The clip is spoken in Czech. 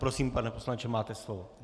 Prosím, pane poslanče, máte slovo.